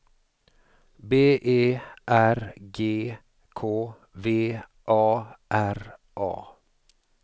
B E R G K V A R A